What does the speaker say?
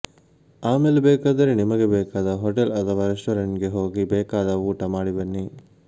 ಆಮೇಲೆ ಬೇಕಾದರೆ ನಿಮಗೆ ಬೇಕಾದ ಹೋಟೆಲ್ ಅಥವಾ ರೆಸ್ಟೋರೆಂಟ್ಗೆ ಹೋಗಿ ಬೇಕಾದ ಊಟ ಮಾಡಿ ಬನ್ನಿ